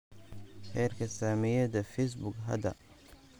heerka saamiyada facebook hadda